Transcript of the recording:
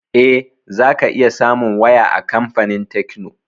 Eh, za ka iya samun waya a kamfanin tekno